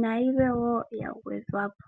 nayilwe woo ya gwedhwapo.